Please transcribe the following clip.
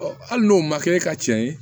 hali n'o ma kɛ ne ka cɛn ye